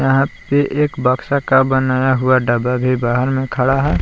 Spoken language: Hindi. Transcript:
यहाँ पे एक बक्सा का बनाया हुआ डब्बा भी बाहर मे खड़ा है।